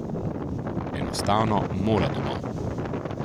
Enostavno mora domov ...